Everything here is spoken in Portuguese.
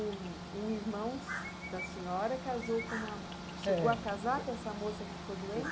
O o irmão da senhora casou com uma... chegou a casar com essa moça que ficou doente?